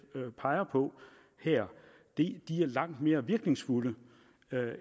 peger på her er langt mere virkningsfulde